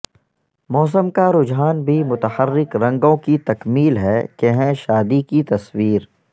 موسم کا رجحان بھی متحرک رنگوں کی تکمیل ہے کہ ہیں شادی کی تصویر